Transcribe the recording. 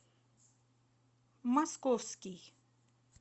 московский